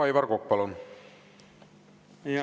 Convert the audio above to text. Aivar Kokk, palun!